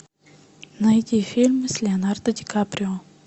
найди фильм с леонардо ди каприо